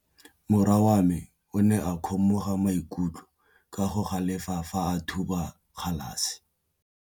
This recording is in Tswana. Morwa wa me o ne a kgomoga maikutlo ka go galefa fa a thuba galase.